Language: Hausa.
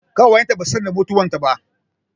Ƙawayen ta ba su san da mutuwar ta ba